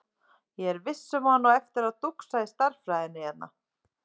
Ég er viss um að hann á eftir að dúxa í stærðfræðinni hérna.